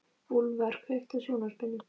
Úlfar, kveiktu á sjónvarpinu.